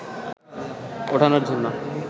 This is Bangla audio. ওঠানোর জন্য